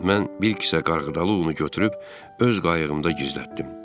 Mən bir kisə qarğıdalı unu götürüb öz qayığımda gizlətdim.